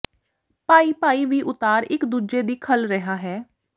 ਭਾਈ ਭਾਈ ਵੀ ਉਤਾਰ ਇੱਕ ਦੂਜੇ ਦੀ ਖੱਲ ਰਿਹਾ ਹੈ